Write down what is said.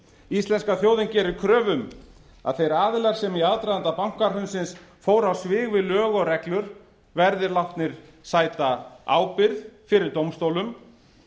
íslenska þjóðin gerir kröfu um að þeir aðilar sem í aðdraganda bankahrunsins fóru á svig við lög og reglur verði látnir sæta ábyrgð fyrir dómstólum